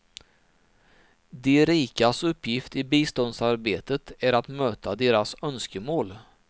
De rikas uppgift i biståndsarbetet är att möta deras önskemål.